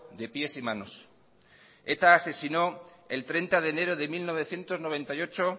de pies y manos eta asesinó el treinta de enero de mil novecientos noventa y ocho